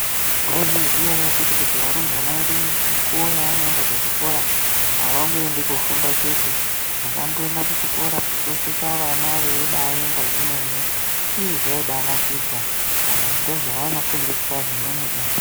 Munozviziva ere akiti kuti varumbwana vedu mukuwo wavanoenda kuzvikora avangoendi kundofunda chete pandakamboenda kuzvikora ndakasvika vana veibaemba zvemene veivaratidza vantu ndozvavanofundisa izvi.